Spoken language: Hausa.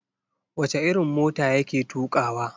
Wace irin mota ya ke tukawa?